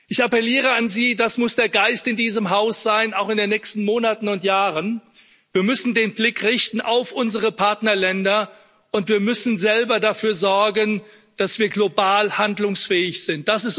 Ich appelliere an Sie, das muss der Geist in diesem Haus sein, auch in den nächsten Monaten und Jahren Wir müssen den Blick auf unsere Partnerländer richten, und wir müssen selber dafür sorgen, dass wir global handlungsfähig sind.